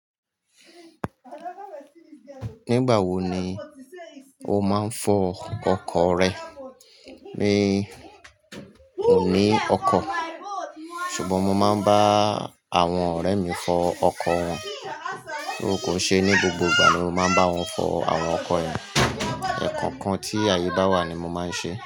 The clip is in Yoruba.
Nígbà wo ni o máa ń fọ ọkọ̀ rẹ? Mi ò ní ọkọ̀, ṣùgbọ́n mo máa ń bá àwọn ọ̀rẹ́ mi fọ ọkọ̀ wọn. Kò n ṣé ní gbogbo ìgbà ni mo máa ń bá wọn fọ àwọn ọkọ̀ yẹ, ẹ̀kọ̀ọ̀kan tí ayé bá wà ni mo máa ń ṣe.